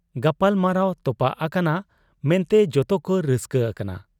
ᱜᱟᱯᱟᱞᱢᱟᱨᱟᱣ ᱛᱚᱯᱟᱜ ᱟᱠᱟᱱᱟ ᱢᱮᱱᱛᱮ ᱡᱚᱛᱚᱠᱚ ᱨᱟᱹᱥᱠᱟᱹ ᱟᱠᱟᱱᱟ ᱾